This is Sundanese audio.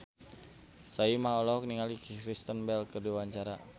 Soimah olohok ningali Kristen Bell keur diwawancara